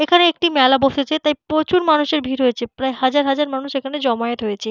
এখানে একটি মেলা বসেছে। তাই প্রচুর মানুষের ভিড় হয়েছে। প্রায় হাজার হাজার মানুষ এখানে জমায়েত হয়েছে।